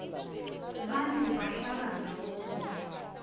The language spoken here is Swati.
bantfu bahlala ndzawonye